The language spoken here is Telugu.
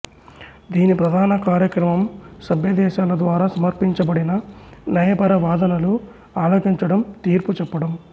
దీని ప్రధాన కార్యక్రమం సభ్యదేశాల ద్వారా సమర్పించబడిన న్యాయపర వాదనలు ఆలకించడం తీర్పు చెప్పడం